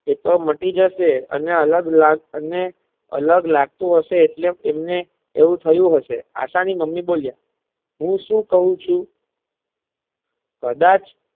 એતો માટી જશે અને અલગ લા અને અલગ લાગતું હશે એટલે તેમ ને એવું થયું હશે આશા ની મુમમી બોલી હું સુ ક્વ ચુ કદાચ.